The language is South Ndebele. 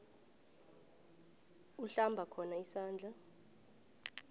uhlamba khona izandla